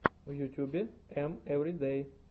в ютубе эм эвридэй